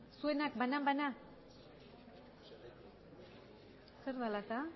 zuenak banan banan zer dela eta